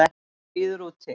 Hann bíður úti.